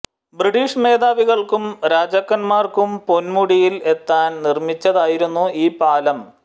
British മേധാവികൾക്കും രാജാക്കൻമാർക്കും പൊൻമുടിയിൽ എത്താൻ നിർമ്മിച്ചതായിരുന്നു ഈ പാലം